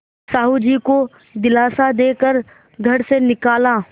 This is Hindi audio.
साहु जी को दिलासा दे कर घर से निकाला